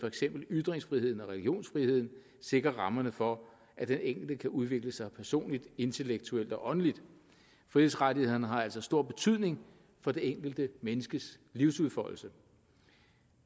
eksempel ytringsfriheden og religionsfriheden sikrer rammerne for at den enkelte kan udvikle sig personligt intellektuelt og åndeligt frihedsrettighederne har altså stor betydning for det enkelte menneskes livsudfoldelse